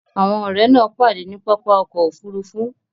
Àwọn ọ̀rẹ́ náà pàdé ní pápá ọkọ̀ Òfurufú